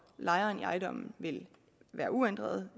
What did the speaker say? lejeren i ejendommen vil være uændrede